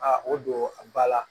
A o don ba la